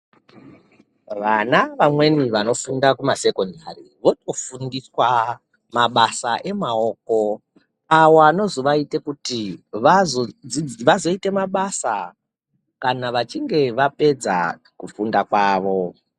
Vana vamweni vanofunda kumasekondari votofundiswa mabasa emaoko. Avo anozovaite kuti vazodzi vazoite mabasa kana vachinge vapedza kufunda kwavo.